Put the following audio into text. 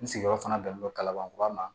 N sigiyɔrɔ fana bɛnnen don kalaban kura ma